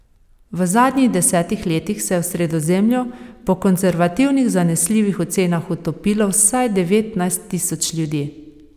V zadnjih desetih letih se je v Sredozemlju po konservativnih zanesljivih ocenah utopilo vsaj devetnajst tisoč ljudi.